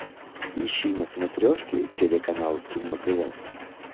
ищи на смотрешке телеканал кино тв